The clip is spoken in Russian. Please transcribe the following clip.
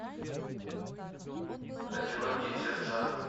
одинокие сердца